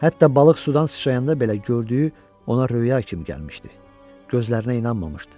Hətta balıq sudan sıçrayanda belə gördüyü ona röya kimi gəlmişdi, gözlərinə inanmamışdı.